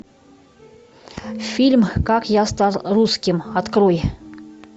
фильм как я стал русским открой